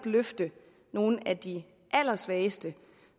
løfte nogle af de allersvageste